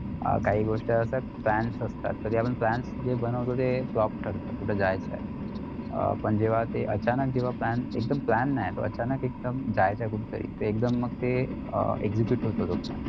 अं काही गोष्टी अश्या plans असतात तरी आपण plans जे बनवतो ते flop ठरतात कुठं जायचय अं पण जेव्हा ते अचानक जेव्हा plan एकदम plan नाय पण अचानक एकदम जायचं कुठेतरी तर एकदम तर ते अं excute होतं